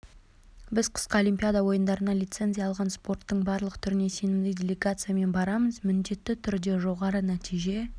біз қысқы олимпиада ойындарында лицензия алған спорттың барлық түріне сенімді делегациямен барамыз міндетті түрді жоғары нәтиже